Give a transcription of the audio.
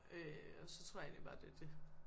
Øh og så tror jeg egentlig bare det er dét